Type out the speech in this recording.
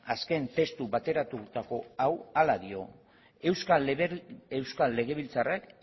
azken testu bateratutako hau horrela dio euskal legebiltzarrak